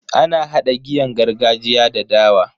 Ana hada giyan gargajiya da dawa.